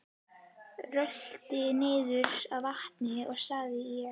Rölti niður að vatni sagði ég.